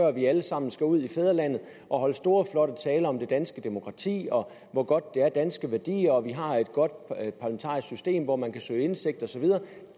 at vi alle sammen skal ud i fædrelandet og holde store flotte taler om det danske demokrati og hvor godt det er danske værdier og at vi har et godt parlamentarisk system hvor man kan søge indsigt og så videre